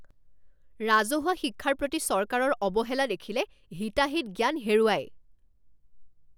ৰাজহুৱা শিক্ষাৰ প্ৰতি চৰকাৰৰ অৱহেলা দেখিলে হিতাহিত জ্ঞান হেৰুৱায়।